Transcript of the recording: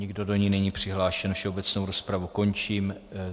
Nikdo do ní není přihlášen, všeobecnou rozpravu končím.